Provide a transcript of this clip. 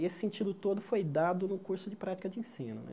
E esse sentido todo foi dado no curso de Prática de Ensino né.